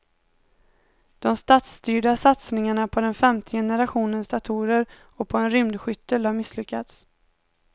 De statsstyrda satsningarna på den femte generationens datorer och på en rymdskyttel har misslyckats.